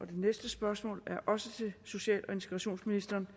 det næste spørgsmål er også til social og integrationsministeren